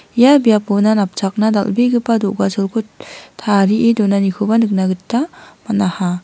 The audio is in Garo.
ia biapona napchakna dal·begipa do·gacholko tarie donanikoba nikna gita man·aha.